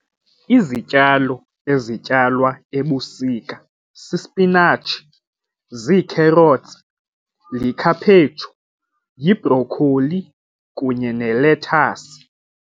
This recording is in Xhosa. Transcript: Izityalo ezityalwa ebusika sisipinatshi, zii-carrots, yikhaphetshu, yibhrokholi kunye nelethasi.